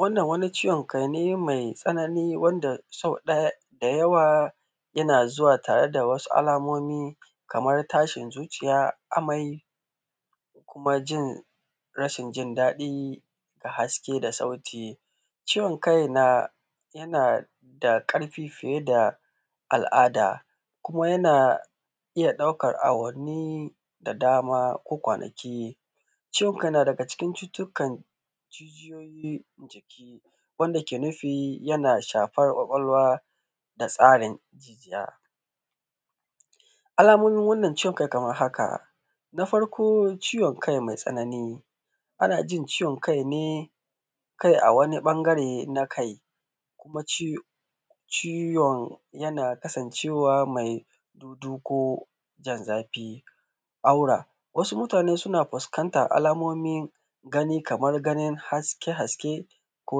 Wannan wani ciwon kai ne mai tsanani wanda sau ɗaya da yawa, yana zuwa tare da wasu almomi kamar tashin zuciya, amai da kuma jin rashin jin daɗi da haske da saauti. Ciwon kai na yana da ƙarfi fiye da al’ada, kuma yana iya ɗaukar awannani da dama ko kwanaki. ciwon kai yana da cikin cututtukan jijiyoyi jiki, wanda yake nufi yana yana shafan kwakwalwa da tsarin jijiya. Alamomin ciwon kai kamar haka, na farkp ciwon kai mai tsanani, Alamomin ciwon kai kamar haka, na farkp ciwon kai mai tsanani, kuma ci ciwon yana kasancewa mai duduko jin zafi aura. Wasu mutane suna fuskantan alamomin gani, kamar ganin haske-haske ko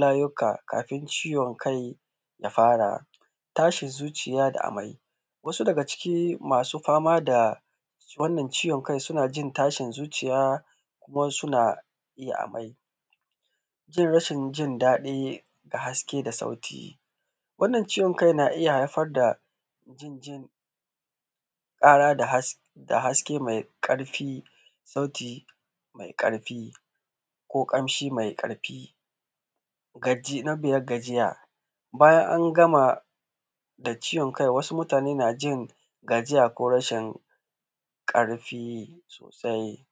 layuka kafin ciwon kai ya fara. Tashin zuciya da amai, wasu daga cikin masu fama da wannan ciwon kai suna jin tashin zuciya kuma suna yin amai. Jin rashin jin daɗi da haske da sauti. Wannan ciwon kai iya haifar da jin jin ƙara da haske mai ƙarfi sauti mai ƙarfi ko ƙamshi mai ƙarfi. gaji na biyad gajiya. Bayan an gama da ciwon kai, wasu mutane na jin gajiya ko rashin ƙarfi sosai.